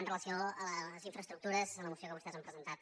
amb relació a les infraestructures en la moció que vostès han presentat